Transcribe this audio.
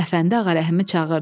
Əfəndi Ağarəhimi çağırdı.